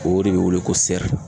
O de bɛ wele ko sɛri.